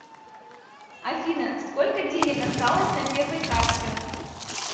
афина сколько денег осталось на первой карте